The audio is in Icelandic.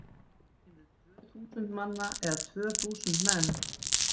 Segjum við tvö þúsund manna eða tvö þúsund menn?